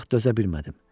Artıq dözə bilmədim.